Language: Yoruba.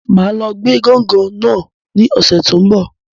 Máa lọ gbé gángan náà ní ọ̀sẹ̀ ti n bọ